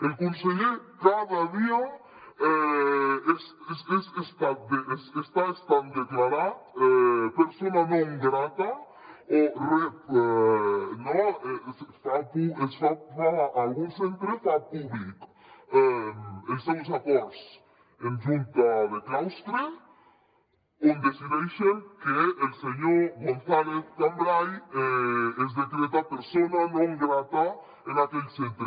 el conseller cada dia està sent declarat persona centre fa públic els seus acords en junta de claustre on decideixen que el senyor gonzàlez cambray es decreta persona non grata en aquell centre